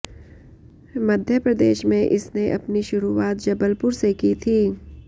मध्यप्रदेश में इसने अपनी शुरूआत जबलपुर से की थी